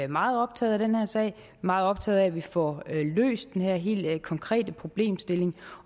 meget optaget af den her sag meget optaget af at vi får løst den her helt konkrete problemstilling